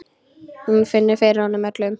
Hún finnur fyrir honum öllum.